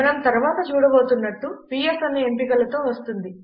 మనం తరువాత చూడబోతున్నట్లు పిఎస్ అనేక ఎంపికలతో వస్తుంది